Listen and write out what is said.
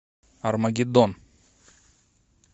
армагеддон